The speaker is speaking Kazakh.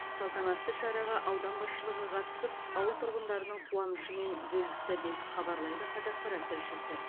салтанатты шараға аудан басшылығы қатысып ауыл тұрғындарының қуанышымен бөлісті деп хабарлайды қазақпарат тілшісі